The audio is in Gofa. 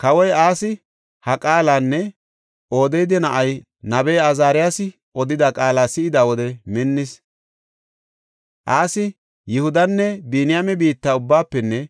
Kawoy Asi ha qaalanne Odeeda na7ay nabey Azaariyasi odida qaala si7ida wode minnis. Asi Yihudanne Biniyaame biitta ubbaafenne